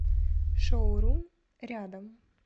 шоурум рядом